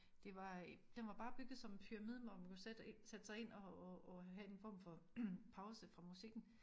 Det var den var bare bygget som en pyramide hvor man kunne sætte sætte sig ind og og og have en form for pause fra musikken